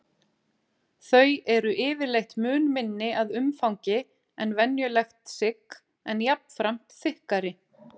Þau eru yfirleitt mun minni að umfangi en venjulegt sigg en jafnframt þykkari.